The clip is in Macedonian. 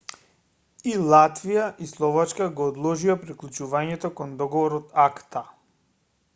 и латвија и словачка го одложија приклучувањето кон договорот акта